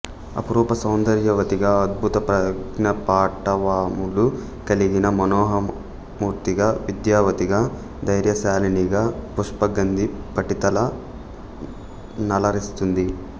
అపురూప సౌందర్యవతిగా అద్భుత ప్రజ్ఞాపాటవములు కలిగిన మనోహరమూర్తిగా విద్యావతిగా ధైర్యశాలినిగా పుష్పగంధి పఠితల నలరిస్తుంది